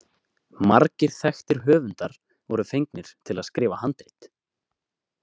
Margir þekktir höfundar voru fengnir til að skrifa handrit.